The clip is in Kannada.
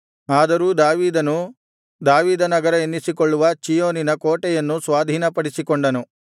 ಅದರೂ ದಾವೀದನು ದಾವೀದನಗರ ಎನ್ನಿಸಿಕೊಳ್ಳುವ ಚೀಯೋನಿನ ಕೋಟೆಯನ್ನು ಸ್ವಾಧೀನಪಡಿಸಿಕೊಂಡನು